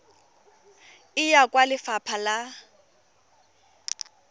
e ya kwa lefapha la